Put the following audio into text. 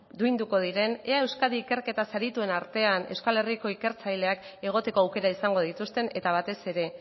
duinduko diren ea euskadi ikerketaz adituen artean euskal herriko ikertzaileak egoteko aukera izango dituzten eta batez ere